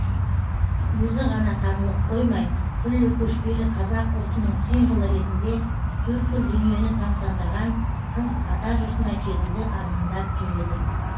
өзі ғана танылып қоймай күллі көшпелі қазақ ұлтының символы ретінде төрткүл дүниені тамсандырған қыз атажұртына келуді армандап жүр еді